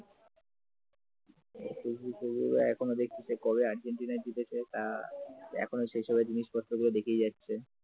Facebook টসবুক এখনো দেখছি কবে আর্জেন্টিনা জিতেছে তা এখনো সেইসব জিনিসপত্র গুলো দেখেই যাচ্ছে